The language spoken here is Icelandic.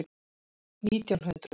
Nítján hundruð